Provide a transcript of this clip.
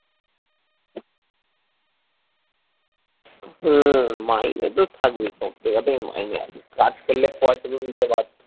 হম মাইনে তো থাকবেই সব জায়গায়তেই মাইনে আছে কাজ করলে পয়সা তো দিতে বাধ্য